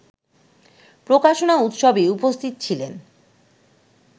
প্রকাশনা উৎসবে উপস্থিত ছিলেন